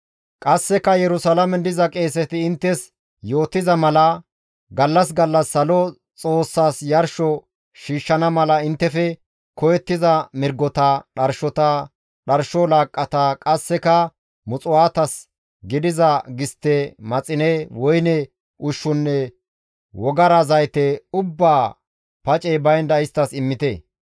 Qasseka Yerusalaamen diza qeeseti inttes yootiza mala gallas gallas Salo Xoossaas yarsho shiishshana mala inttefe koyettiza mirgota, dharshota, dharsho laaqqata, qasseka muxuwaatas gidiza gistte, maxine, woyne ushshunne wogara zayte ubbaa pacey baynda isttas immite.